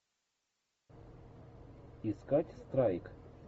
искать страйк